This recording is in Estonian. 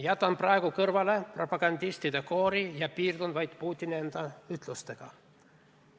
Jätan praegu kõrvale propagandistide koori ja piirdun vaid Putini enda ütlustega.